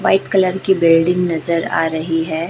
White colour की building नजर आ रही है।